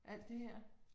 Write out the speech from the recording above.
Alt det her